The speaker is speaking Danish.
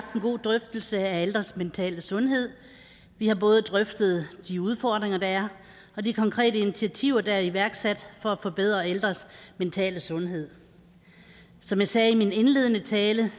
en god drøftelse af ældres mentale sundhed vi har både drøftet de udfordringer der er og de konkrete initiativer der er i iværksat for at forbedre ældres mentale sundhed som jeg sagde i min indledende tale